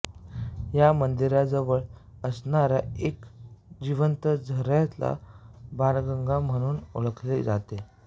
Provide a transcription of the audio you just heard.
या मंदिराजवळ असणाऱ्या एका जिवंत झऱ्याला बाणगंगा म्हणून ओळखले जाते